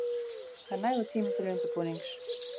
Það er nægur tími til undirbúnings.